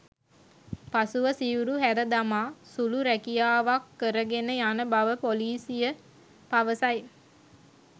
පසුව සිවුරු හැර දමා සුළු රැකියාවක්‌ කරගෙන යන බව පොලිසිය පවසයි.